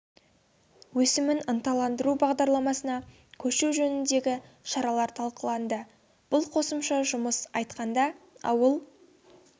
өсімін ынталандыру бағдарламасына көшу жөніндегі шаралар талқыланды бұл қосымша жұмыс орындарын ашуды атап айтқанда ауыл